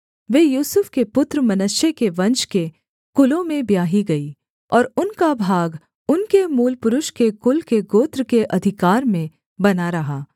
वे यूसुफ के पुत्र मनश्शे के वंश के कुलों में ब्याही गईं और उनका भाग उनके मूलपुरुष के कुल के गोत्र के अधिकार में बना रहा